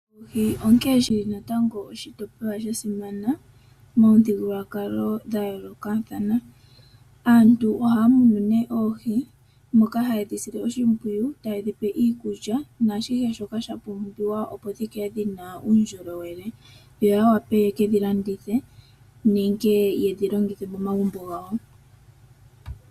Onkene shili natango oshitopolwa shasimana momithigukulwakalo dhayoolokathana. Aantu ohaya munu oohi moka hayedhi sile oshimpwiyu tayedhipe iikulya naashihe shoka shapumbiwa opo dhikale dhina uundjolowele , yoya wape yekedhi landithe nenge yedhi longithe momagumbo gawo.